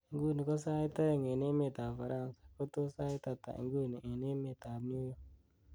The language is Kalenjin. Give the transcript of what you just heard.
inguni ko sait oeng' en emeet ab ufaranza ko tos sait ata inguni en emeet ab new york